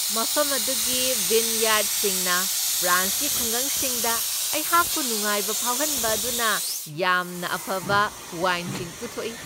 ꯃꯐꯝ ꯑꯗꯨꯒꯤ ꯚꯤꯟꯌꯥꯔꯗꯁꯤꯡꯅ ꯐ꯭ꯔꯥꯟꯁꯀꯤ ꯈꯨꯡꯒꯪꯁꯤꯡꯗ ꯑꯩꯍꯥꯛꯄꯨ ꯅꯨꯡꯉꯥꯏꯕ ꯐꯥꯎꯍꯟꯕ ꯑꯗꯨꯅ ꯌꯥꯝꯅ ꯑꯐꯕ ꯋꯥꯏꯟꯁꯤꯡ ꯄꯨꯊꯣꯛꯏ꯫